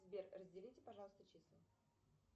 сбер разделите пожалуйста числа